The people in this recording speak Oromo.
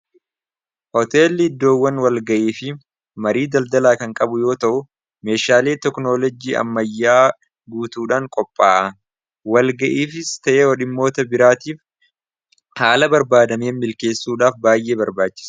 Hooteelli iddoowwan walga'ii fi marii daldalaa kan qabu yoo ta'u meeshaalei toknoolojii ammayyaa guutuudhaan qopha'a walga'iifis ta'ee hodhimmoota biraatiif haala barbaadamee milkeessuudhaaf baay'ee barbaachisa.